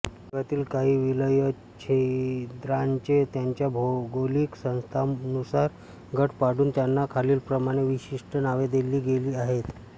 जगातील काही विलयछिद्रांचे त्यांच्या भौगोलिक स्थळानुसार गट पाडून त्यांना खालीलप्रमाणे विशिष्ट नावे दिली गेली आहेत